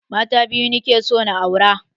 Mata biyu nake so na aura